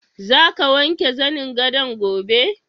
Za ka wanke zanin gadon gobe?